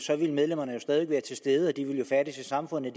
så ville medlemmerne jo stadig være til stede de ville færdes i samfundet